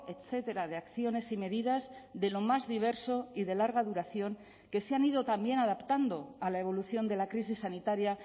etcétera de acciones y medidas de lo más diverso y de larga duración que se han ido también adaptando a la evolución de la crisis sanitaria